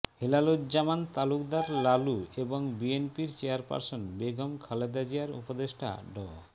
হেলালুজ্জামান তালুকদার লালু এবং বিএনপির চেয়ারপার্সন বেগম খালেদা জিয়ার উপদেষ্টা ড